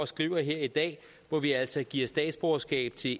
skriver her i dag hvor vi altså giver statsborgerskab til